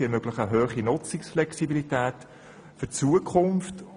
Sie ermöglichen eine hohe Nutzungsflexibilität für die Zukunft.